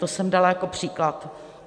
To jsem dala jako příklad.